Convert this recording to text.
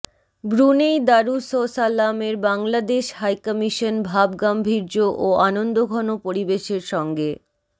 Brunei দারুসসালামের Bangladesh high commission ভাবগাম্ভীর্য ও আনন্দঘন পরিবেশের সঙ্গে